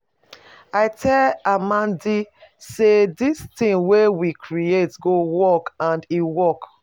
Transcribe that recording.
I tell Amadi say dis thing wey we create go work and e work.